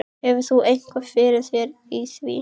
Hefur þú eitthvað fyrir þér í því?